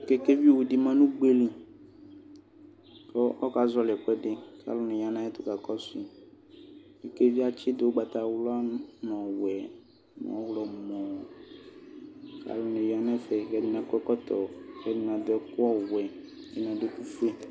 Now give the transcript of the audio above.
Kekɛvi awʋdi ma nʋ ʋgbeli kʋ ɔka zɔli ɛkʋɛdi ka lʋni yanʋ ayɛtʋ kaka kɔsʋi kekeviɛ atsidʋ ʋgbatawla nʋ ɔwɛ nʋ ɔɣlɔmɔ kʋ alʋni ya nɛƒɛ kakɔ ɛkɔtɔ kɛdini adʋ ɛkʋ ɔwɛ kɛdini adʋ ɛkʋƒʋe